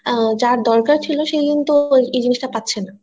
আহ যার দরকার ছিল সে কিন্তু এই জিনিস টা পাচ্ছে না